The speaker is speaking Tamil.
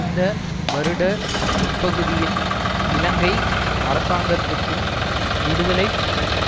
இந்த வருட முற்பகுதியில் இலங்கை அரசாங்கத்துக்கும் விடுதலை